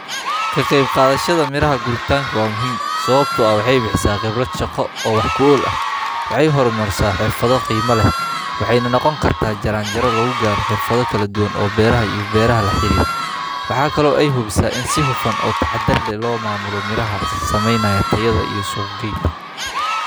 Sanduuqa compost-ka waa weel gaar ah oo loogu talagalay in lagu ururiyo qashinka dabiiciga ah sida caleemaha, cawska, hilibka aan sunta lahayn, iyo cuntooyinka qashinka ah ee guryaha ka yimaada si loo sameeyo compost-ka, taas oo ah bacriminta dabiiciga ah ee dhulka lagu qurxiyo ama beerta lagu kobciyo.